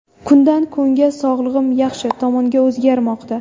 Kundan kunga sog‘lig‘im yaxshi tomonga o‘zgarmoqda.